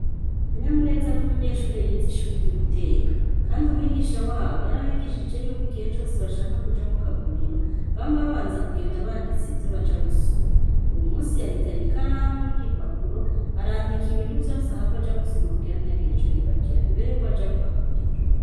Kanyamuneza n'umunyeshure yiz’ishuri ry'uguteka ,kand’ umwigisha wabo yarabigishije yuko igihe cose bashaka kuja mu kaguriro bama babanza kugenda bandise ivyo baja gusuma uwu munsi yahitanye ikaramu n'igipapuro arandika ibintu vyose ahav’aja gusuma kugira ntihagire ico yibagira imbere yukw’aja mu kaguriro.